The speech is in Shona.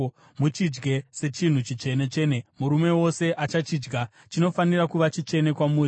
Muchidye sechinhu chitsvene-tsvene; murume wose achachidya. Chinofanira kuva chitsvene kwamuri.